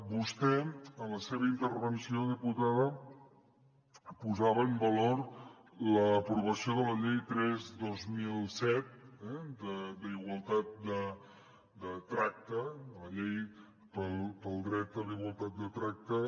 vostè en la seva intervenció diputada posava en valor l’aprovació de la llei tres dos mil set d’igualtat de tracte la llei pel dret a la igualtat de tracte